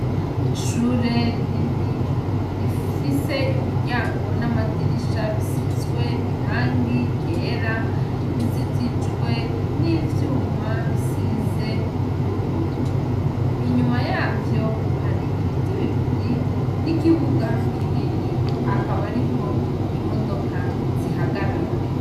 Ishure rinini. Rifise imiryango n'amadirisha bisizwe irangi ryera. Rizitijwe n'ivyuma bisize ubururu. Inyuma yavyo hari ibiti bibiri n'ikibuga kinini, akaba ariho imodoka zihagarara.